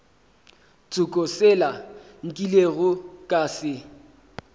tsoko sela nkilego ka se